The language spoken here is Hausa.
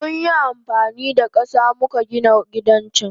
Munyi amfanida kasa muka Gina gidan can.